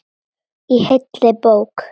Í heilli bók.